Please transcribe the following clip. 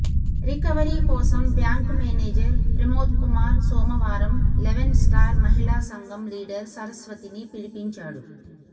recovery కోసం bank manager Pramodkumar సోమవారం eleven star మహిళా సంఘం లీడర్ సరస్వతిని పిలిపించాడు